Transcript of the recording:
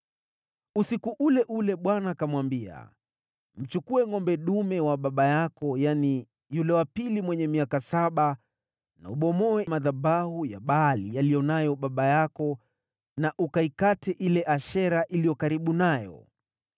Usiku ule ule Bwana akamwambia, “Mchukue ngʼombe dume wa baba yako, yaani, yule wa pili mwenye miaka saba, na ubomoe madhabahu ya Baali aliyo nayo baba yako, na ukaikate Ashera iliyo karibu nayo.